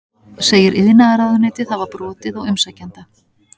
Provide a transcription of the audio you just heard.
Segir iðnaðarráðuneytið hafa brotið á umsækjanda